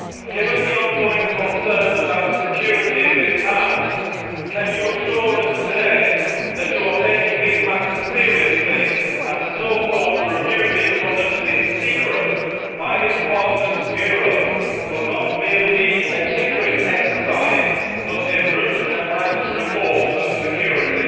Given the ongoing concerns about security in this House, can you assure us today that you are taking these matters seriously, and that the so called review being conducted in secret by Parliament's Bureau will not merely be a tinkering exercise, but a root and branch reform of security?